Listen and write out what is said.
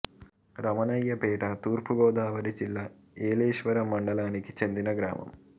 రమణయ్యపేట తూర్పు గోదావరి జిల్లా ఏలేశ్వరం మండలానికి చెందిన గ్రామం